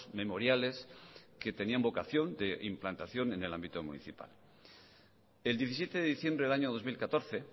memoriales que tenían vocación de implantación en el ámbito municipal el diecisiete de diciembre del año dos mil catorce